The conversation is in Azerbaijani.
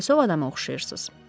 Dəlisov adama oxşayırsız.